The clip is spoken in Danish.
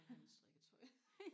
jeg vil have mit strikketøj